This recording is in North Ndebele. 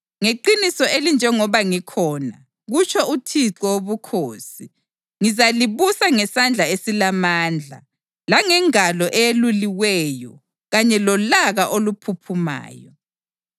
Ngeqiniso elinjengoba ngikhona, kutsho uThixo Wobukhosi, ngizalibusa ngesandla esilamandla langengalo eyeluliweyo kanye lolaka oluphuphumayo.